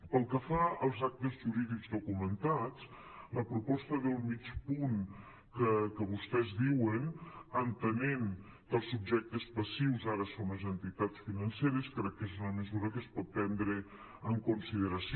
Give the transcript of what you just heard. pel que fa als actes jurídics documentats la proposta del mig punt que vostès diuen entenent que els subjectes passius ara són les entitats financeres crec que és una me·sura que es pot prendre en consideració